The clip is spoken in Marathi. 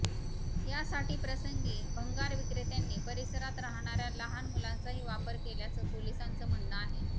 यासाठी प्रसंगी भंगारविक्रेत्यांनी परिसरात राहणाऱ्या लहान मुलांचाही वापर केल्याचं पोलिसांचं म्हणणं आहे